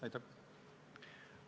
Aitäh!